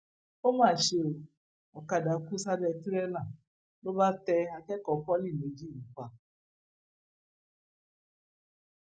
ó mà ṣe o ọkadà kó sábẹ tìrẹlà ló bá tẹ akẹkọọ pọlì méjì yìí pa